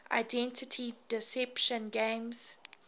identity deception games